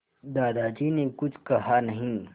दादाजी ने कुछ कहा नहीं